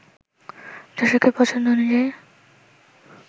দর্শকের পছন্দ অনুযায়ী